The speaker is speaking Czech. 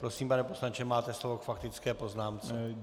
Prosím, pane poslanče, máte slovo k faktické poznámce.